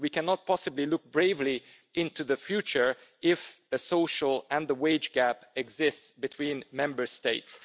We cannot possibly look bravely into the future if a social and a wage gap exists between Member States.